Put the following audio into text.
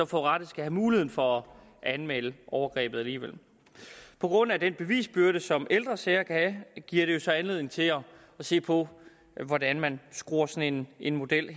forurettede skal have muligheden for at anmelde overgrebet alligevel på grund af den bevisbyrde som ældre sager giver det jo så anledning til at se på hvordan man helt skruer sådan en model